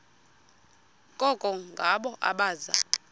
koko ngabo abaza